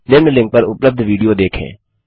निम्न लिंक पर उपलब्ध विडियो देखें